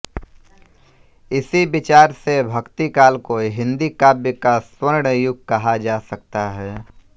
इसी विचार से भक्तिकाल को हिंदी काव्य का स्वर्ण युग कहा जा सकता है